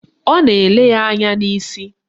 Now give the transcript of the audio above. Ọ nọ na-ele ya anya n'isi